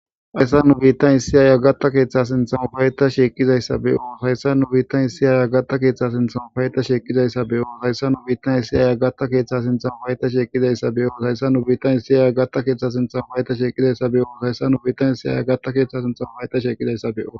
hayssa nu biittan issiyaaya gatta keeththa sintham payta sheeqqizayssabe7oos hayssa nu biittan issiyaya gatta keeththa sinthamo payta sheqqizayssabe7oos hayssa nu biittan issiyaya gatta keeththa sinthamo hayta sheqqizayssabeyoos hayssa nu biittan issiyaaya gatta keeththa sintham hayta sheqqizayssabe7oos hayssa nu biittan issiyaya gatta keeththa sinthamo payta sheqqizayssabeo